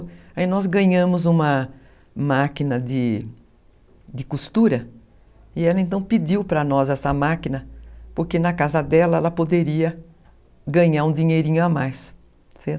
Aí nós ganhamos uma máquina de de costura e ela então pediu para nós essa máquina porque na casa dela ela poderia ganhar um dinheirinho a mais, certo?